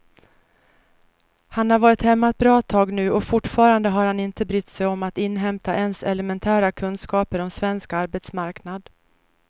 Han har varit hemma ett bra tag nu och fortfarande har han inte brytt sig om att inhämta ens elementära kunskaper om svensk arbetsmarknad.